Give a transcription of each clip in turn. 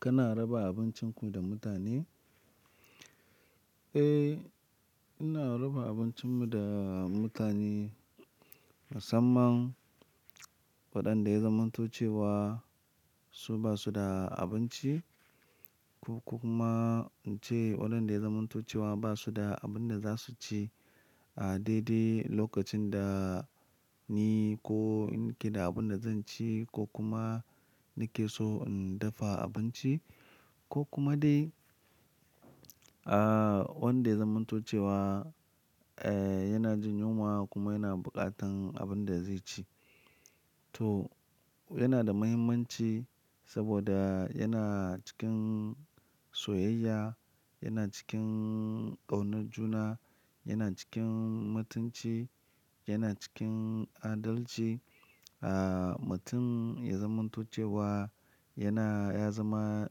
Kana raba abincin ku da mutane? Eh, ina raba abincin mu da mutane, musamman waɗanda ya zamanto cewa su basu da abinci ko kuma ince waɗanda ya zamanto cewa basu da abun da za su ci a daidai lokacin da ni ko in ke da abun da zan ci ko kuma nake so in dafa abinci ko kuma dai, ah, wanda ya zamanto cewa, eh, yana jin yunwa kuma yana buƙatan abun da zai ci. To ya da mahimmanci, saboda yana cikin soyayya, yana cikin kaunar juna, yana cikin mutunci, yana cikin adalci. Ah mutum yana zamanto cewa yana ya zama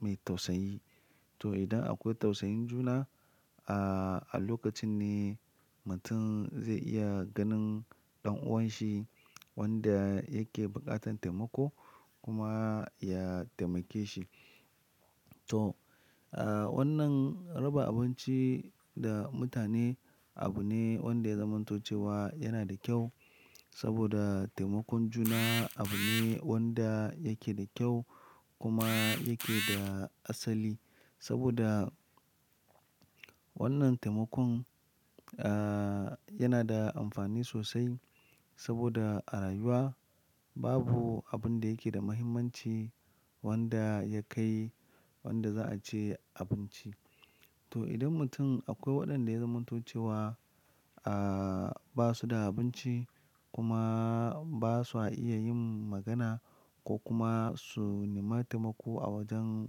me tausayi. To idan akwai tausayin juna ah a lokacin ne mutum zai iya ganin dan uwanshi wanda yake bukatar taimako kuma ya taimake shi. To ah Wannan raba abinci da mutane abu ne wanda zamanto cewa yana kyau soboda taimakon juna abu ne wanda yake da kyau kuma yake da asali, saboda. Wannan taimakon ah yana da amfani sosai saboda a rayuwa babu abinda yake da mahimmanci wanda ya kai wanda za ace abinci. To idan mutum akwai wadanda ya zamanto cewa ah basu da abinci kuma basa iya yin magana ko kuma su nema taimako a wurin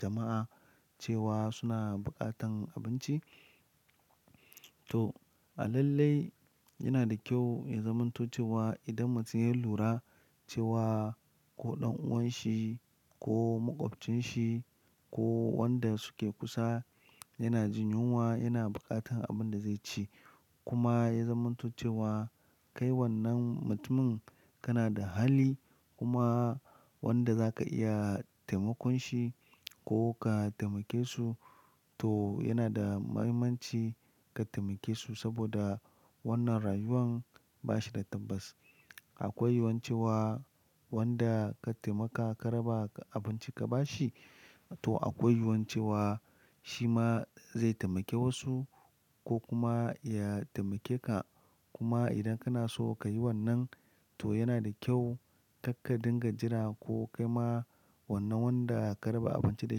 jama'a cewa suna bukatan abinci. To, a lallai yana da kyau ya zamanto cewa idan mutum ya lura cewa ko dan uwanshi ko makwabcin shi ko wanda suke kusa. Yana jin yunwa, yana buƙatan abun da zai ci kuma ya zamantuce wa kai wannan mutumin kana da hali kuma wanda zaka iya taimakon shi ko ka taimake su to yana mahimmanci ka taimake su saboda wannan rayuwan bashi da tabbas. Akwai yiyuwan cewa wanda ka taimaka ka raba abinci ka bashi to akwai yiyuwan cewa shima zai taimake wasu ko kuma ya taimake ka. Kuma idan kana so kayi wannan to yana da kyau kar ka dinga jira ko kaima. Wannan wanda ka raba abinci da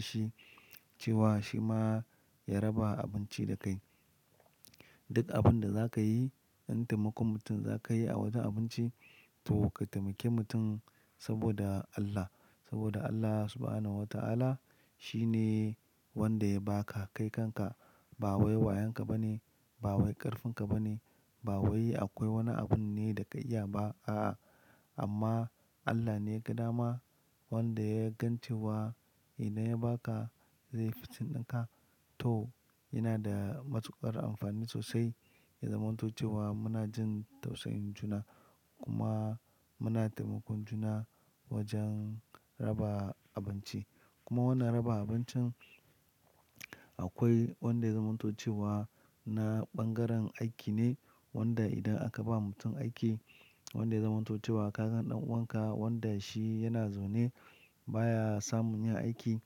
shi cewa shi ma ya raba abinci da kai. Duk abinda zaka yi in taimakon mutum zaka yi a wajen abinci to ka taimaki mutum saboda Allah saboda Allah subhanahu wa ta'ala shine wanda ya baka kai kanka. Ba wai wayonka bane ba wai karfin ka bane ba wai akwai wani abun ne da ka iya ba a'a amma Allah ne yaga dama wanda yagan cewa idan ya baka zai yi fitting dinka. To, yana da matuƙar amfani sosai ya zamantuce wa muna jin tausayin juna kuma muna taimakon juna wajen raba abinci. Kuma wannan raba abincin akwai wanda ya zamanto cewa na bangaren aiki ne wanda idan aka ba mutum aiki wanda ya zamanto cewa kasan dan uwanka wanda shi yana zaune. Baya samun yin aiki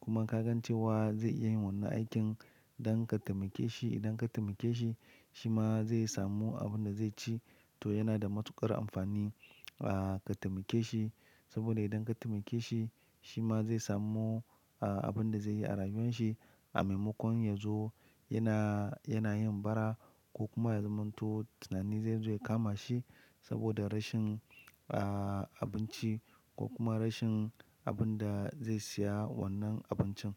kuma kaga cewa zai iya yin wannan aikin don ka taimake shi. Idan ka taimake shima zai samu abunda zai ci to yana da matukar amfani ah ka taimake shi. Saboda idan ka taimake shi shima zai samu ah abunda zai yi a rayuwanshi A maimakon yazo yana yana yin bara ko kuma ya zamanto tunani zai zo ya kama shi. Saboda rashin ah abinci ko kuma rashin abunda zai siya wannan abincin.